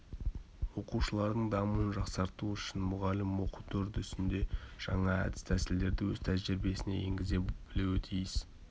оқушылардың дамуын жақсарту үшін мұғалім оқыту үдерісінде жаңа әдіс-тәсілдерді өз тәжірибесіне енгізе білуі тиіс